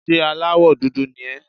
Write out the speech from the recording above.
Ṣé aláwọ̀ dúdú ni ẹ́?